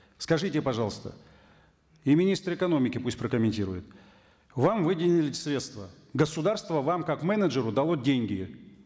скажите пожалуйста и министр экономики пусть прокомментирует вам выделили средства государство вам как менеджеру дало деньги